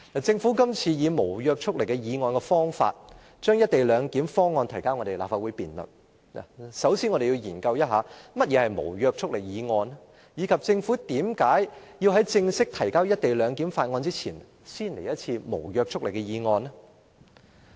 政府這次以無約束力議案的方法，將"一地兩檢"方案提交立法會辯論，首先，我們要研究一下何謂無約束力議案，以及政府為何在正式提交"一地兩檢"的相關法案前，先來一次無約束力的議案呢？